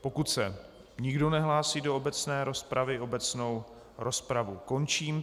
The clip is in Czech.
Pokud se nikdo nehlásí do obecné rozpravy, obecnou rozpravu končím.